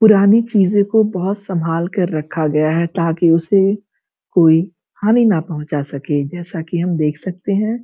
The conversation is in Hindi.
पुरानी चीजों को भोत संभाल कर रखा गया है ताकि उसे कोई हानि ना पहुंचा सके जैसा कि हम देख सकते हैं।